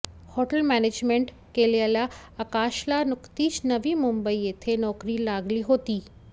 hotel management केलेल्या आकाशला नुकतीच नवी मुंबई येथे नोकरी लागली होती